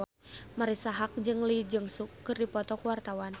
Marisa Haque jeung Lee Jeong Suk keur dipoto ku wartawan